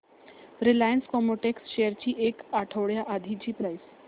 Reliance Chemotex shares ची एक आठवड्या आधीची प्राइस